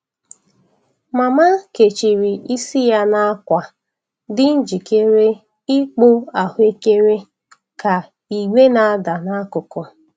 Mama kechiri isi ya na akwa, dị njikere ịkpụ ahụekere ka igbè na-ada n'akụkụ.